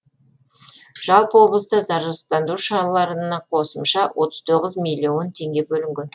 жалпы облыста зарарсыздандыру шараларына қосымша отыз тоғыз миллион теңге бөлінген